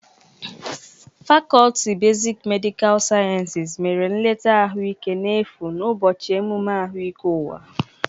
Fakọlti besik medịkal siayensis mere nleta ahụ ike n'efu n'ụbọchị emume ahụike ụwa.